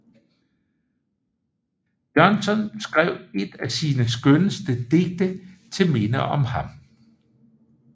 Bjørnson skrev et af sine skønneste Digte til Minde om ham